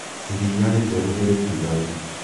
iria rĩtheru nĩrĩtigaru?